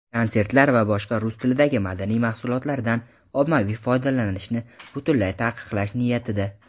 konsertlar va boshqa "rus tilidagi madaniy mahsulotlar"dan ommaviy foydalanishni butunlay taqiqlash niyatida.